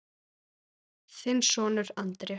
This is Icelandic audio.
Þinn sonur, Andrés.